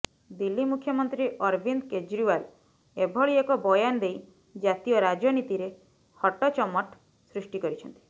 ଦିଲ୍ଲୀ ମୁଖ୍ୟମନ୍ତ୍ରୀ ଅରବିନ୍ଦ କ୍ରେଜିୱାଲ ଏଭଳି ଏକ ବୟାନ ଦେଇ ଜାତୀୟ ରାଜନୀତିରେ ହଟଚମଟ ସୃଷ୍ଟି କରିଛନ୍ତି